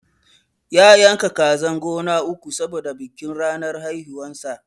ya yanka kazan gona uku saboda bikin ranar haihuwan sa